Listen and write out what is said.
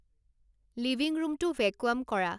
living ৰুমটো vacuum কৰা